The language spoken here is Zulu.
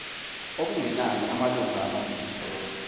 okungenani amalunga amabili